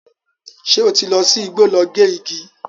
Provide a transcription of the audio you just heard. Ṣé ó ti lọ sí igbó lọ gé igi?